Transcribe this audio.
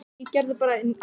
spyr ég hann.